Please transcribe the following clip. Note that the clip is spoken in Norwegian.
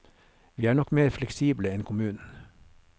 Vi er nok mer fleksible enn kommunen.